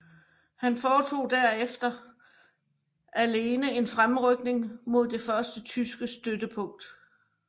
Han foretog derfor alene en fremrykning mod det første tyske støttepunkt